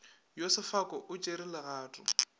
yo sefaka o tšere legato